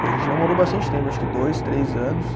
E a gente namorou bastante tempo, acho que dois, três anos.